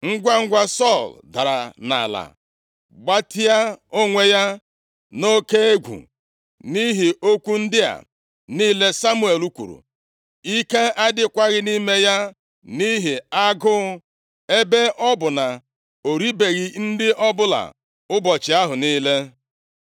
Ngwangwa, Sọl dara nʼala, gbatịa onwe ya nʼoke egwu, nʼihi okwu ndị a niile Samuel kwuru. Ike adịghịkwa nʼime ya nʼihi agụụ, ebe ọ bụ na o ribeghị nri ọbụla ụbọchị ahụ niile.